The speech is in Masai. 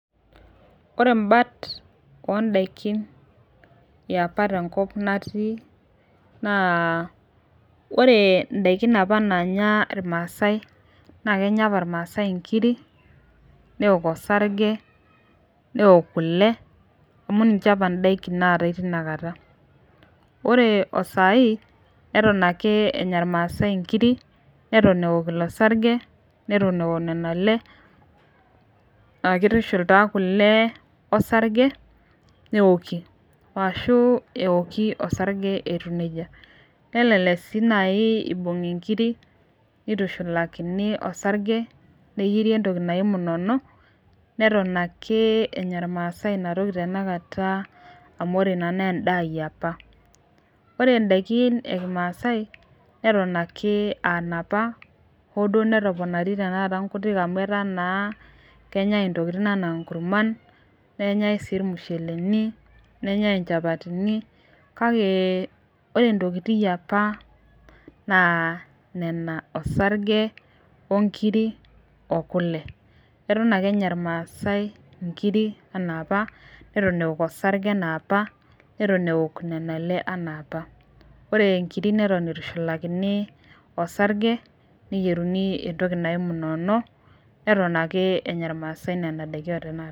ore imbaat ondaikin apa tenkop apa natii naa, ore apa indaikin apa nanya ilamsae na, kenya apa ilmasae ingiri neok osarge neok kule, amu ninche apa indaikin natae tina kata, ore o sai neton ake enya ilmase ingiri neton eok ilo sarge, netok eok nena ale, aa kitushul ta kule osarge neoki ashu eoki osarge etiu neijia, nelelek si naji ibungi inkiri, nitushulakini osarge neyieri entoki naji munono, neton ake enya ilmasae ina toki tenekata, amu ore ina na endaa yiapa, ore indaikin ekimasae neton ake aa inapa hoo netoponari, tenekata inkuti amu eta naa kenyae entokitin ena inkurman, nenyae si ilmusheleni, nenyae inchapatini kak eore intokitin yiapa na nena osarge, inkiri ,okule, eton ake enya ilmasae inkiri ena apa, neton eok osarge ena apa, neton eok kule ena apa, ore inkiri eton itushulakini, osarge neyiereuni entoki naji mnono, neton ake enya ilmase nena daiki otanakata.